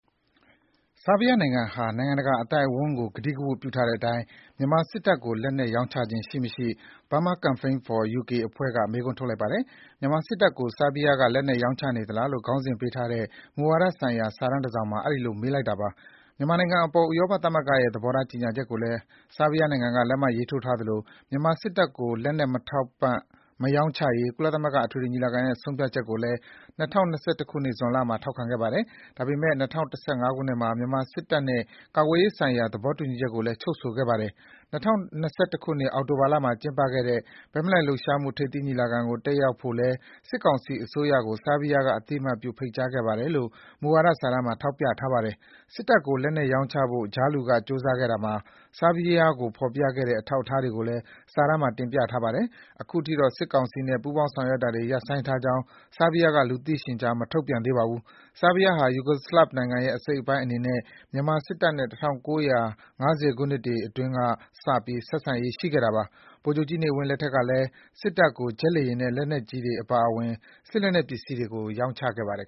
ဆာဘီးယား နိုင်ငံဟာ နိုင်ငံတကာ အသိုက်အဝန်း ကို ကတိကဝတ်ပြုထားတဲ့အတိုင်း မြန်မာ စစ်တပ် ကို လက်နက်ရောင်းချခြင်း ရှိမရှိ Burma Campaign for UK အဖွဲ့ က မေးခွန်း ထုတ်လိုက်ပါတယ်။ မြန်မာ စစ်တပ် ကို ဆာဘီးယား က လက်နက် ရောင်းချနေသလား လို့ ခေါင်းစဉ်ပေးထားတဲ့ မူဝါဒ ဆိုင်ရာ စာတမ်း တစ်စောင် မှာ အဲဒီလို မေးလိုက်တာပါ။ မြန်မာ နိုင်ငံ အပေါ် ဥရောပသမဂ္ဂ ရဲ့ သဘောထား ကြေညာချက် ကိုလည်း ဆာဘီးယား နိုင်ငံ က လက်မှတ်ရေးထိုးထားသလို၊ မြန်မာ စစ်တပ် ကို လက်နက် မထောက်ပံ့ မရောင်းချရေး ကုလသမဂ္ဂ အထွေထွေ ညီလာခံ ရဲ့ ဆုံးဖြတ်ချက် ကိုလည်း ၂၀၂၁ ဇွန်လ မှာ ထောက်ခံခဲ့ပါတယ်။ ဒါပေမဲ့ ၂၀၁၅ ခုနှစ် မှာ မြန်မာ စစ်တပ် နဲ့ ကာကွယ်ရေး ဆိုင်ရာ သဘောတူညီချက် ကိုလည်း ချုပ်ဆိုခဲ့ပါတယ်။ ၂၀၂၁ အောက်တိုဘာလ မှာ ကျင်းပခဲ့တဲ့ ဘက်မလိုက်လှုပ်ရှားမှု ထိပ်သီး ညီလာခံ ကို တက်ရောက်ဖို့လည်း စစ်ကောင်စီ အစိုးရ ကို ဆာဘီးယား က အသိအမှတ်ပြု ဖိတ်ကြားခဲ့ပါတယ် လို့ မူဝါဒ စာတမ်း မှာ ထောက်ပြထားပါတယ်။ စစ်တပ် ကို လက်နက် ရောင်းချဖို့ ကြားလူ က ကြိုးစားခဲ့ရာမှာ ဆာဘီးယား ကို ဖော်ပြခဲ့တဲ့ အထောက်အထားတွေ ကိုလည်း စာတမ်း မှာ တင်ပြထားပါတယ်။ ခုထိတော့ စစ်ကောင်စီ နဲ့ ပူးပေါင်း ဆောင်းရွက်တာတွေ ရပ်ဆိုင်းကြောင်း ဆာဘီးယား က လူသိရှင်ကြား မထုတ်ပြန်သေးပါဘူး။ ဆာဘီးယား ဟာ ယူဂိုစလဗ် နိုင်ငံ ရဲ့ အစိတ်အပိုင်း အနေနဲ့ မြန်မာ စစ်တပ် နဲ့ ၁၉၅၀ ခုနှစ်များ အတွင်း က စပြီး ဆက်ဆံရေး ရှိခဲ့တာပါ။ ဗိုလ်ချုပ်ကြီး နေဝင်း လက်ထက် ကတည်း က စစ်တပ် ကို ဂျက်လေယာဉ် နဲ့ လက်နက်ကြီးများ အပါအဝင် စစ်လက်နက်ပစ္စည်းတွေ ကို ရောင်းချခဲ့ပါတယ်